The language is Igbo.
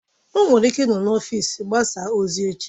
O nwere ike ịnọ na ọfịs mgbasa ozi echi